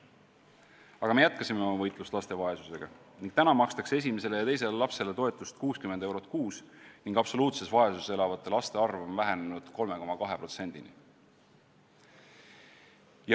Aga me jätkasime oma võitlust laste vaesusega ning täna makstakse esimesele ja teisele lapsele toetust 60 eurot kuus ning absoluutses vaesuses elavate laste arv on vähenenud 3,2%-ni.